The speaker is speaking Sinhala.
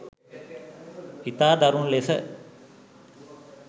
ඉතා දරුණු ලෙස